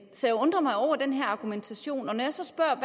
så jeg undrer mig over den her argumentation og når jeg så spørger